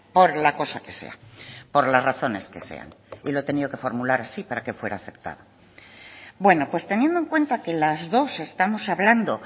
por la cosa que sea por las razones que sean y lo he tenido que formular así para que fuera aceptado bueno pues teniendo en cuenta que las dos estamos hablando